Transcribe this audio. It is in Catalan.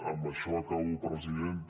amb això acabo presidenta